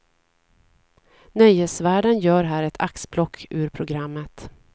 Nöjesvärlden gör här ett axplock ur programmet.